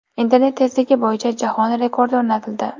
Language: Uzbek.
Internet tezligi bo‘yicha jahon rekordi o‘rnatildi.